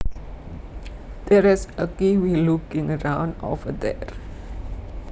There is a kiwi looking around over there